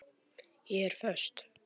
Ég er föst.